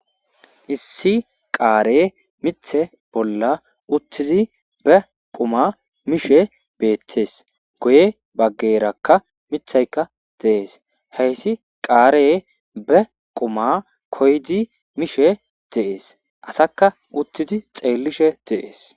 issi qaare mithe bolla uttizi be quma mishe beettees goye baggerakka mithayka deees heyssi qaare be quma koydi mishe deees asakka uttidi xeellishe deees